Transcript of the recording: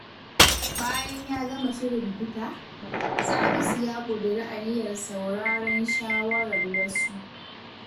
Bayan ya gama shirin fita, Salisu ya ƙudiri aniyar sauraron shawarar wasu.